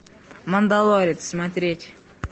мандалорец смотреть